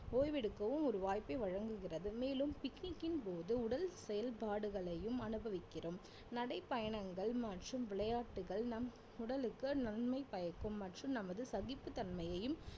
ஓய்வெடுக்கவும் ஒரு வாய்ப்பை வழங்குகிறது மேலும் picnic ன் போது உடல் செயல்பாடுகளையும் அனுபவிக்கிறோம் நடை பயணங்கள் மற்றும் விளையாட்டுகள் நம் உடலுக்கு நன்மை பயக்கும் மற்றும் நமது சகிப்புத் தன்மையையும்